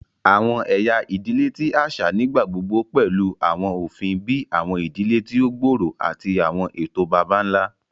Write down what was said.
Awọn ẹya idile ti aṣa nigbagbogbo pẹlu awọn ofin bii awọn idile ti o gbooro ati awọn eto baba-nla.